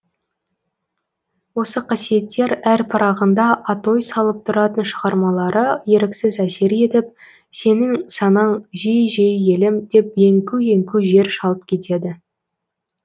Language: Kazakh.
осы қасиеттер әр парағында атой салып тұратын шығармалары еріксіз әсер етіп сенің санаң жиі жиі елім деп еңку еңку жер шалып кетеді